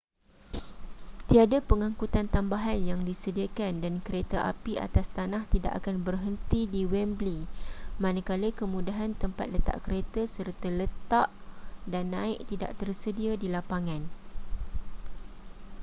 tiada pengangkutan tambahan yang disediakan dan kereta api atas tanah tidak akan berhenti di wembley manakala kemudahan tempat letak kereta serta letak dan naik tidak tersedia di lapangan